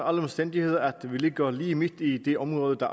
omstændigheder at vi ligger lige midt i det område der